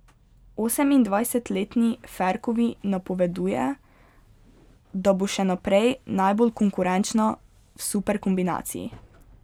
Osemindvajsetletni Ferkovi napoveduje, da bo še naprej najbolj konkurenčna v superkombinaciji.